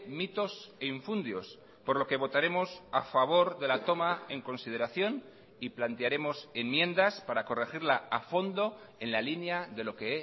mitos e infundios por lo que votaremos a favor de la toma en consideración y plantearemos enmiendas para corregirla a fondo en la línea de lo que he